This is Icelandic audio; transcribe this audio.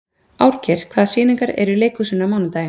Árgeir, hvaða sýningar eru í leikhúsinu á mánudaginn?